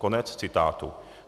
Konec citátu.